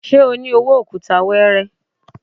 Ṣé o ní owó òkúta weere?